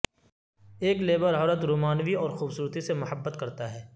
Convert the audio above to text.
ایک لیبر عورت رومانوی اور خوبصورتی سے محبت کرتا ہے